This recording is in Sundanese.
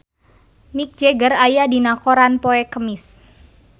Mick Jagger aya dina koran poe Kemis